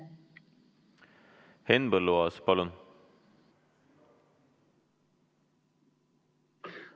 Henn Põlluaas, palun!